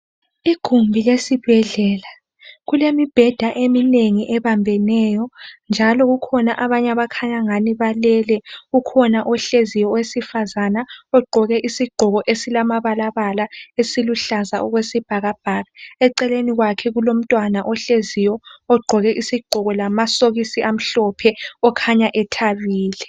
Igumbi lesibhedlela kulemibheda eminengi ebambeneyo njalo kukhona abanye abakhanya angani balele. Kukhona ohleziyo owesifazana ogqoke isigqoko esilamabalabala esiluhlaza okwesibhakabhaka. Eceleni kwakhe kulomntwana ohleziyo ogqoke isigqoko lamasokisi amhlophe okhanya ethabile